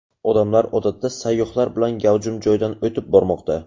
Odamlar odatda sayyohlar bilan gavjum joydan o‘tib bormoqda.